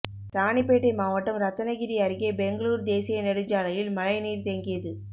ராணிப்பேட்டை மாவட்டம் ரத்தனகிரி அருகே பெங்களூரு தேசிய நெடுஞ்சாலையில் மழைநீர் தேங்கியது